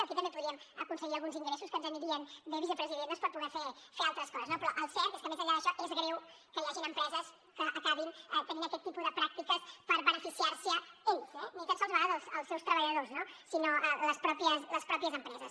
aquí també podríem aconseguir alguns ingressos que ens anirien bé vicepresident doncs per poder fer altres coses no però el cert és que més enllà d’això és greu que hi hagin empreses que acabin tenint aquest tipus de pràctiques per beneficiar se’n elles eh ni tan sols de vegades els seus treballadors no sinó les mateixes empreses